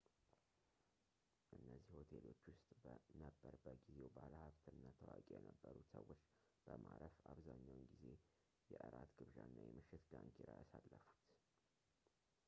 እነዚህ ሆቴሎች ውስጥ ነበር በጊዜው ባለሀብትና ታዋቂ የነበሩት ሰዎች በማረፍ አብዛኛውን ጊዜ የእራት ግብዣና የምሽት ዳንኪራ ያሳለፉት